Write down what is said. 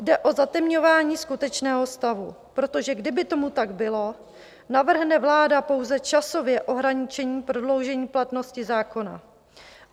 Jde o zatemňování skutečného stavu, protože kdyby tomu tak bylo, navrhne vláda pouze časové ohraničení prodloužení platnosti zákona.